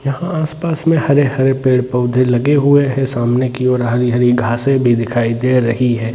यहाँ आस-पास में हरे-हरे पेड़-पौधे लगे हुए हैं सामने की ओर हरी-हरी घासें भी दिखाई दे रही है।